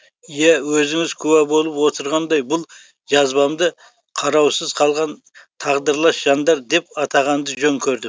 иә өзіңіз куә болып отырғандай бұл жазбамды қараусыз қалған тағдырлас жандар деп атағанды жөн көрдім